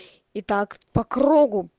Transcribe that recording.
и так по кругу